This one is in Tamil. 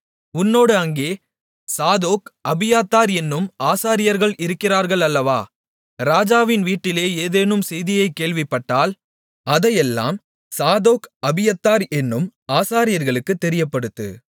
உன்னோடு அங்கே சாதோக் அபியத்தார் என்னும் ஆசாரியர்கள் இருக்கிறார்கள் அல்லவா ராஜாவின் வீட்டிலே ஏதேனும் செய்தியை கேள்விப்பட்டால் அதையெல்லாம் சாதோக் அபியத்தார் என்னும் ஆசாரியர்களுக்கு தெரியப்படுத்து